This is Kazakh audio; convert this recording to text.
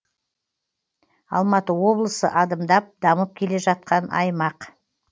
алматы облысы адымдап дамып келе жатқан аймақ